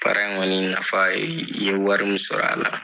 Baara in kɔni nafa ye i ye wari min sɔrɔ a la